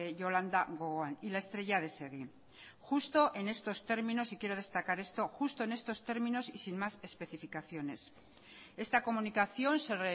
yolanda gogoan y la estrella de segi justo en estos términos y quiero destacar esto y sin más especificaciones esta comunicación se